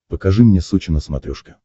покажи мне сочи на смотрешке